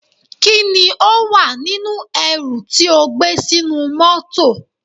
Kí ni ó wà nínú ẹrù tí ó gbé sínú mọ́tọ̀.